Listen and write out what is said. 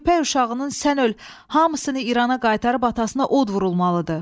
Köpək uşağının sən öl hamısını İrana qaytarıb atasına od vurulmalıdır.